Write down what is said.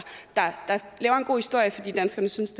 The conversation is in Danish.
laver en god historie fordi danskerne synes